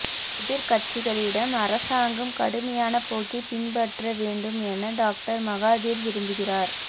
எதிர்க்கட்சிகளிடம் அரசாங்கம் கடுமையான போக்கை பின்பற்ற வேண்டும் என டாக்டர் மகாதீர் விரும்புகிறார்